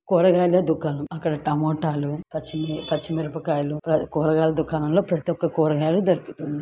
కూరగాయల దుకాణం అక్కడ టమాటా లు పచ్చి మిరప కాయలు కూరగాయల దుకాణంలో ప్రతి ఒక్క కూరగాయలు దొరుకుతుంది.